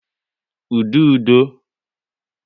Ududo